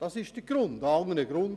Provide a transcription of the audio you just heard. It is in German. Es gibt keinen anderen Grund.